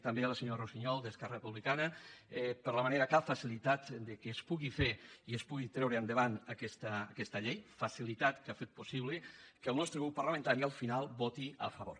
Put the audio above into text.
també a la senyora russiñol d’esquerra republicana per la manera com ha facilitat que es pugui fer i es pugui treure endavant aquesta llei facilitat que ha fet possible que el nostre grup parlamentari al final hi voti a favor